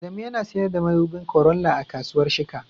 Adamu yana sayar da madubin Corolla a kasuwar Shika